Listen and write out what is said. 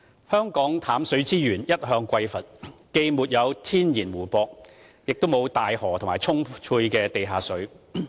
香港淡水資源一向匱乏，既沒有天然湖泊，亦沒有大河或充沛的地下水。